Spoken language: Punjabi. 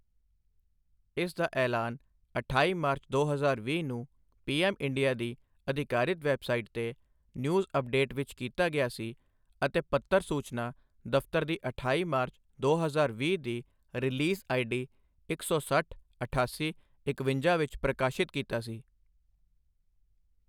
ਇਸ ਦਾ ਐਲਾਨ ਅਠਾਈ ਮਾਰਚ, ਦੋ ਹਜ਼ਾਰ ਵੀਹ ਨੂੰ ਪੀਐੱਮਇੰਡੀਆ ਦੀ ਅਧਿਕਾਰਿਤ ਵੈੱਬਸਾਈਟ ਤੇ ਨਿਊਜ਼ ਅੱਪਡੇਟ ਵਿੱਚ ਕੀਤਾ ਗਿਆ ਸੀ ਅਤੇ ਪੱਤਰ ਸੂਚਨਾ ਦਫ਼ਤਰ ਦੀ ਅਠਾਈ ਮਾਰਚ, ਦੋ ਹਜ਼ਾਰ ਵੀਹ ਦੀ ਰਿਲੀਜ਼ ਆਈਡੀ ਇੱਕ ਸੌ ਸੱਠ, ਅਠਾਸੀ, ਇਕਵੰਜਾ ਵਿੱਚ ਪ੍ਰਕਾਸ਼ਿਤ ਕੀਤਾ ਸੀ।